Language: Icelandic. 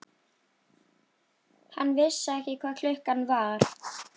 Hann vissi ekki hvað klukkan var.